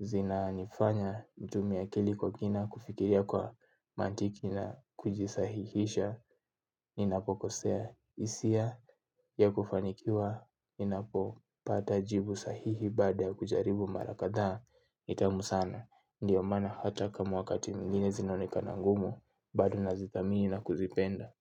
Zinanifanya nitumie akili kwa kina kufikiria kwa mantiki na kujisahihisha. Ninapokosea hisia ya kufanikiwa. Ninapopata jibu sahihi baada ya kujaribu mara kadhaa. Tamu sana ndio maana hata kama wakati mwingine zinaonekana ngumu. Bado nazithamini na kuzipenda.